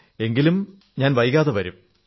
എങ്കിലും ഞാൻ വൈകാതെ വരും